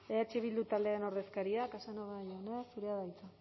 ez eh bildu taldearen ordezkaria casanova jauna zurea da hitza